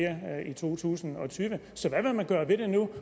i to tusind og tyve så hvad vil man gøre ved det nu